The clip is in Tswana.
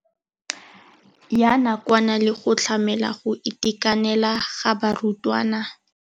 Ya nakwana le go tlamela go itekanela ga barutwana.